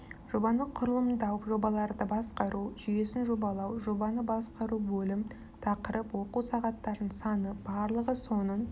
жобаны құрылымдау жобаларды басқару жүйесін жобалау жобаны басқару бөлім тақырып оқу сағаттарының саны барлығы соның